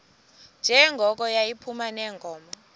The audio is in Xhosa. njengoko yayiphuma neenkomo